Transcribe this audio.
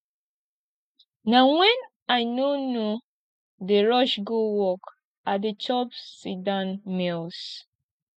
na wen i no no dey rush go work i dey chop sitdown meals